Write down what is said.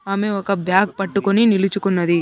ఆమె ఒక బ్యాగ్ పట్టుకొని నిలుచుకున్నది.